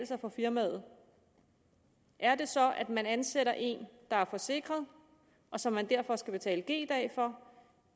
sig for firmaet er det så at man ansætter en der er forsikret og som man derfor skal betale g dage for